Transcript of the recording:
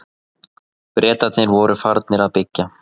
Bretarnir voru farnir að byggja.